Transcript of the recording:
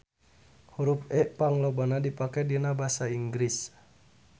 Hurup E panglobana dipake dina basa Inggris.